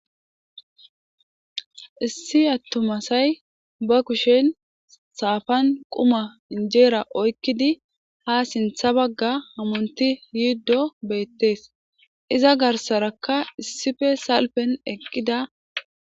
issi attumasay ba kushen saafan quma injeera oykkidi ha sintha bagga hamunti yiiddo beettees iza garsarakka issife salpen eqqida